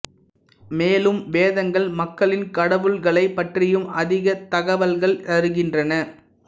மேலும் வேதங்கள் மக்களின் கடவுள்களைப் பற்றியும் அதிக தகவல்கள் தருகின்றன